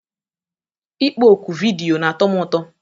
Ịkpọ oku vidiyo na-atọ m ụtọ